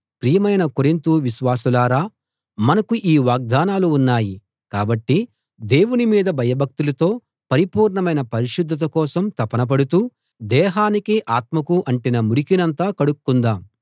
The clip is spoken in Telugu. ప్రియమైన కొరింతు విశ్వాసులారా మనకు ఈ వాగ్దానాలు ఉన్నాయి కాబట్టి దేవుని మీద భయభక్తులతో పరిపూర్ణమైన పరిశుద్ధత కోసం తపన పడుతూ దేహానికీ ఆత్మకూ అంటిన మురికినంతా కడుక్కుందాం